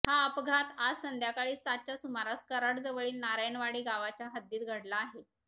हा अपघात आज संध्याकाळी सातच्या सुमारास कराड जवळील नारायणवाडी गावच्या हद्दीत घडला आहे